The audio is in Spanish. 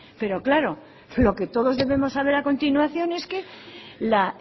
pero claro lo que todos debemos saber a continuación es que la